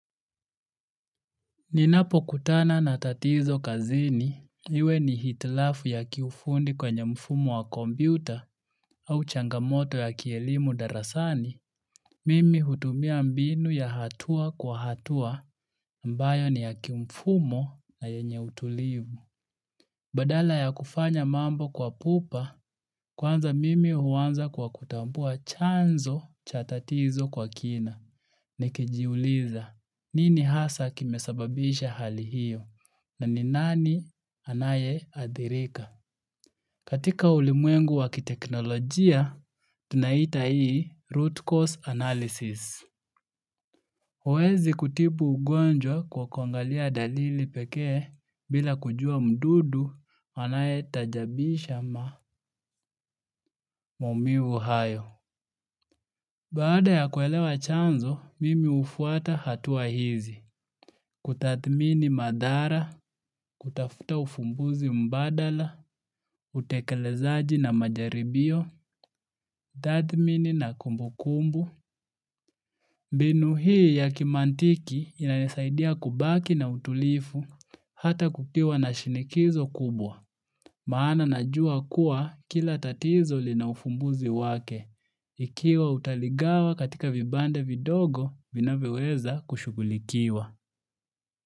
Ninapokutana na tatizo kazini, iwe ni hitilafu ya kiufundi kwenye mfumo wa kompyuta au changamoto ya kielimu darasani. Mimi hutumia mbinu ya hatua kwa hatua ambayo ni ya kimfumo na yenye utulivu. Badala ya kufanya mambo kwa pupa, kwanza mimi huanza kwa kutambua chanzo cha tatizo kwa kina. Nikijiuliza nini hasa kimesababisha hali hiyo na ni nani anayeadhirika. Katika ulimwengu wa kiteknolojia, tunaita hii root cause analysis. Huwezi kutibu ugonjwa kwa kuangalia dalili pekee bila kujua mdudu anayetajabisha maumivu hayo. Baada ya kuelewa chanzo, mimi hufuata hatua hizi. Kutathmini madhara, kutafuta ufumbuzi mbadala, utekelezaji na majaribio, tathmini na kumbukumbu. Mbinu hii ya kimantiki inanisaidia kubaki na utulivu hata kukiwa na shinikizo kubwa. Maana najua kuwa kila tatizo lina ufumbuzi wake. Ikiwa utaligawa katika vibande vidogo vinavyoweza kushughulikiwa.